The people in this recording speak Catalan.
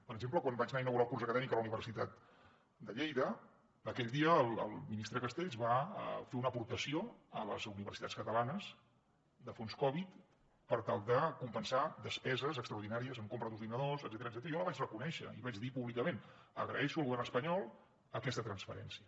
per exemple quan vaig anar a inaugurar el curs acadèmic a la universitat de lleida aquell dia el ministre castells va fer una aportació a les universitats catalanes de fons covid per tal de compensar despeses extraordinàries en compra d’ordinadors etcètera i jo la vaig reconèixer i vaig dir públicament agraeixo al govern espanyol aquesta transferència